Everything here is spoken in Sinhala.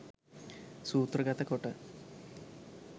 සූත්‍රගත කොට